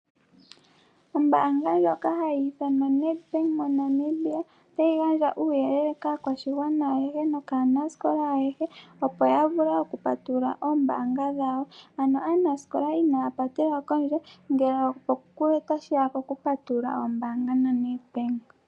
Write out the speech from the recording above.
Ombaanga ndjoka hayi ithanwa Nedbank moNamibia otayi gandja uuyelele kaakwashigwana nokaanasikola ayehe, opo ya vule okupatulula omayalulo goombaanga gawo. Ano aanasikola inaya patelwa pondje, ngele otashi ya pokupatulula omayalulo gombaanga naNedbank.